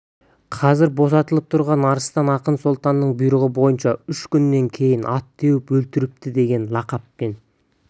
қазір босатылып тұрған арыстан ақын сұлтанның бұйрығы бойынша үш күннен кейін ат теуіп өлтіріпті деген лақаппен